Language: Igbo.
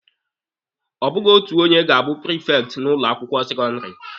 Ọ bụghị otu onye ga-abụ prifekti n'ụlọ akwụkwọ sekọndịrị.